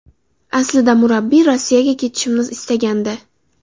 Aslida murabbiy Rossiyaga ketishimni istagandi.